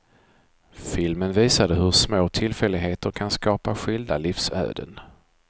Filmen visade hur små tillfälligheter kan skapa skilda livsöden.